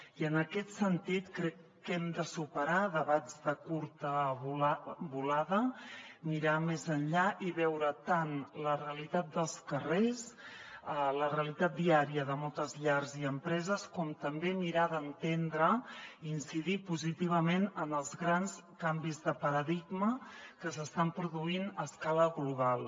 i en aquest sentit crec que hem de superar debats de curta volada mirar més enllà i veure tant la realitat dels carrers la realitat diària de moltes llars i empreses com també mirar d’entendre i incidir positivament en els grans canvis de paradigma que s’estan produint a escala global